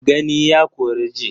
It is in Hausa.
Gani ya kori ji.